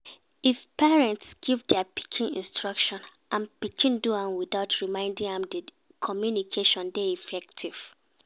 If parents give their pikin instruction and pikin do am without reminding am di communication de effective